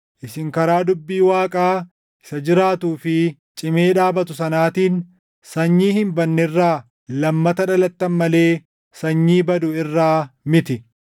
Isin karaa dubbii Waaqaa isa jiraatuu fi cimee dhaabatu sanaatiin sanyii hin badne irraa lammata dhalattan malee sanyii badu irraa miti.